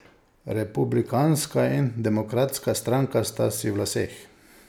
Republikanska in demokratska stranka sta si v laseh.